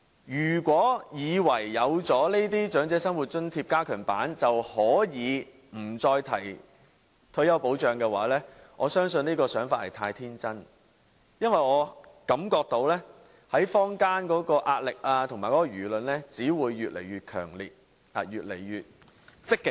如果政府以為設立這項加強版的長者生活津貼，便可以不再提退休保障，我相信這想法太天真，因為我感覺到坊間的壓力和輿論只會越來越強烈，越來越積極。